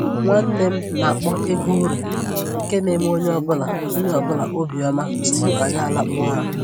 Nwanne m na-akpọ egwu ure nke na-eme onye ọbụla onye ọbụla obi ọma tupu anyị alakpuo ụra